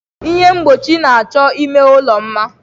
Ihe mgbochi na-achọ ime ụlọ mma.